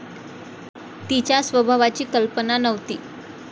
तिच्या स्वभावाची कल्पना नव्हती.